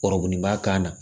Kɔriba kan na